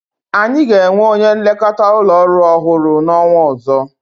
Anyi ga-enwe onye nlekọta ụlọ orụ ọhụrụ n'ọnwa ọzọ.